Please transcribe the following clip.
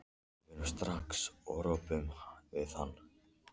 Við förum bara strax og röbbum við hann.